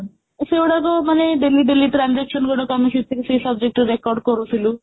ଏଇ ସବୁ ଯଉ ମାନେ daily daily transaction ଗୁଡାକ ଆମେ ସେଥିରେ ସେଇ subject ରେ record କରୁଥିଲୁ